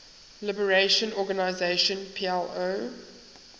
liberation organization plo